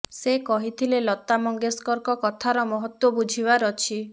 ସେ କହିଥିଲେ ଲତା ମଙ୍ଗେସକରଙ୍କ କଥାର ମହତ୍ୱ ବୁଝିବାର ଅଛି